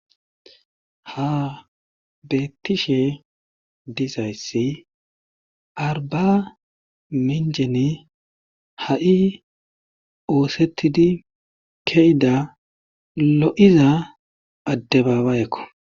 Ha betishe dizays arbaminchenn ha'i osetid ke'ida lo'iza adebabayeko.